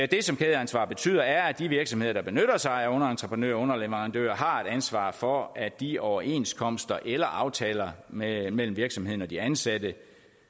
det som kædeansvar betyder er at de virksomheder der benytter sig af henholdsvis underentreprenører og underleverandører har et ansvar for at de overenskomster eller aftaler mellem virksomheden og de ansatte